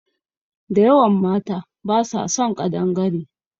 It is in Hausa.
Da yawan mata basa son ƙadangare